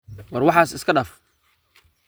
War waxas iskadaaf.